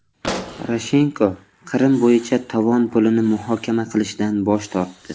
Poroshenko Qrim bo‘yicha tovon pulini muhokama qilishdan bosh tortdi.